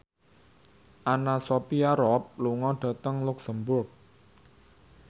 Anna Sophia Robb lunga dhateng luxemburg